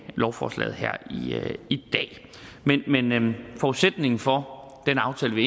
lovforslaget her i dag men forudsætningen for den aftale vi